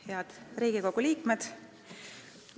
Head Riigikogu liikmed!